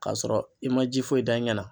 K'a sɔrɔ i ma ji foyi da i ɲɛ na.